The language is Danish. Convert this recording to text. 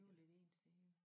Det bliver lidt ensidigt